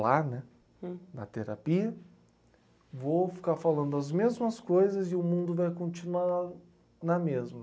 lá, né? Hum... Na terapia, vou ficar falando as mesmas coisas e o mundo vai continuar na mesma.